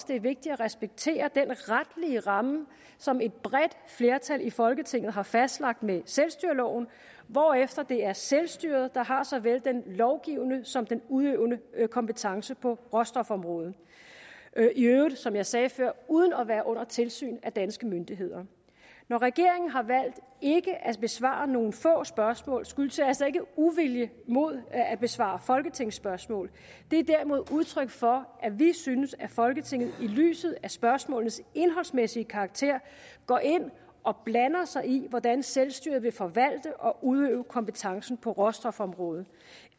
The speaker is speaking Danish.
det er vigtigt at respektere den retlige ramme som et bredt flertal i folketinget har fastlagt med selvstyreloven hvorefter det er selvstyret der har såvel den lovgivende som den udøvende kompetence på råstofområdet i øvrigt som jeg sagde før uden at være under tilsyn af danske myndigheder når regeringen har valgt ikke at besvare nogle få spørgsmål skyldes det altså ikke uvilje mod at besvare folketingsspørgsmål det er derimod udtryk for at vi synes at folketinget i lyset af spørgsmålenes indholdsmæssige karakter går ind og blander sig i hvordan selvstyret vil forvalte og udøve kompetencen på råstofområdet